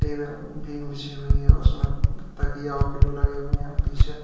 beam बिछी हुई है और उसमें तकिया और पिलो लगे हुए और पीछे--